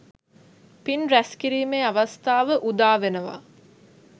පින් රැස්කිරීමේ අවස්ථාව උදාවෙනවා.